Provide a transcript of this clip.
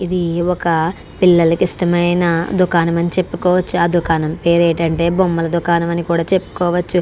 ఇది ఒక పిల్లలకు ఇష్టమైన దుకాణం అని చెప్పుకోవచ్చు. ఆ దుకాణం పేరు ఏంటంటే బొమ్మలు దుకాణం అని కూడా చెప్పుకోవచ్చు.